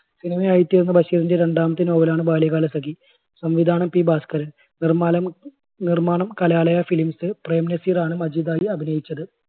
cinema യായിത്തീർന്ന ബഷീറിൻറെ രണ്ടാമത്തെ novel ണ് ബാല്യകാലസഖി. സംവിധാനം P ഭാസ്കരൻ നിർമ്മാണം, നിർമ്മാണം കലാലയ films പ്രേം നസീറാണ് മജീദായി അഭിനയിച്ചത്.